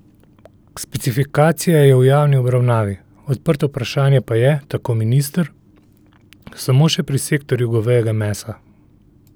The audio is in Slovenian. Specifikacija je v javni obravnavi, odprto vprašanje pa je, tako minister, samo še pri sektorju govejega mesa.